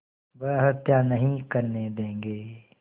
वह हत्या नहीं करने देंगे